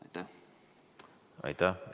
Aitäh!